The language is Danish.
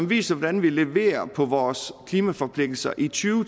viser hvordan vi leverer på vores klimaforpligtelser i to